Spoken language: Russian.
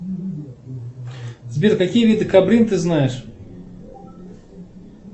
сбер какие виды кабрин ты знаешь